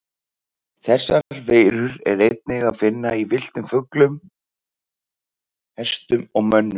Þessar veirur er einnig að finna í villtum fuglum, fiðurfé, hestum og mönnum.